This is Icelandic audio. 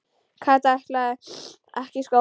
Kata ætlaði ekki í skóla.